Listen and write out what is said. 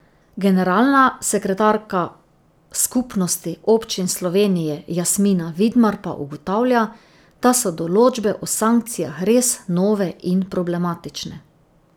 Generalna sekretarka Skupnosti občin Slovenije Jasmina Vidmar pa ugotavlja, da so določbe o sankcijah res nove in problematične.